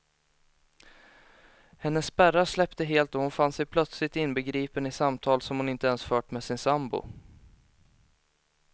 Hennes spärrar släppte helt och hon fann sig plötsligt inbegripen i samtal som hon inte ens fört med sin sambo.